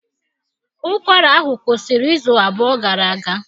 Ụkwara ahụ kwụsịrị izu abụọ gara aga